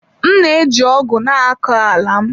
M na-eji ọgụ na-akọ ala m.